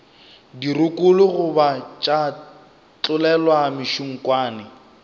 dirokolo goba tša tlolelwa mešunkwane